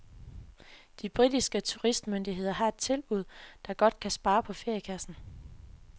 De britiske turistmyndigheder har et tilbud, der godt kan spare på feriekassen.